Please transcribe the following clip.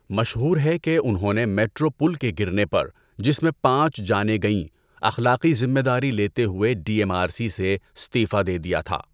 مشہور ہے کہ انہوں نے میٹرو پل کے گرنے پر، جس میں پانچ جانیں گئیں، اخلاقی ذمہ داری لیتے ہوئے ڈی ایم آر سی سے استعفا دے دیا تھا۔